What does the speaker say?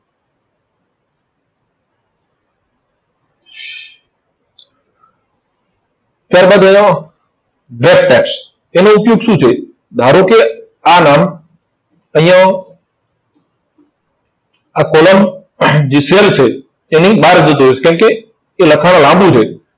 ત્યાર બાદ રહ્યો wrap text. તેનો ઉપયોગ શું છે. ધારો કે આ નામ અહીંયા આ column છે. તેની બહાર જતું રહે છે કેમ કે એ લખાણ લાંબુ છે.